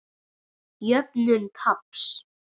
Jöfnun taps.